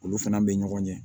Olu fana bɛ ɲɔgɔn ɲɛ